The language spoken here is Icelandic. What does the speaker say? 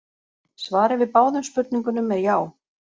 Svarið við báðum spurningunum er já.